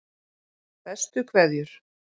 Bestu kveðjur